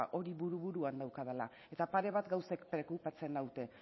hori buru buruan daukat eta pare bat gauzek preokupatzen naute